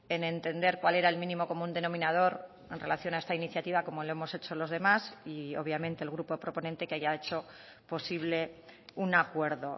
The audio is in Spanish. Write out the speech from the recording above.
en entender cuál era el mínimo común denominador en relación a esta iniciativa como lo hemos hecho los demás y obviamente el grupo proponente que haya hecho posible un acuerdo